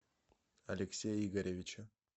алексея игоревича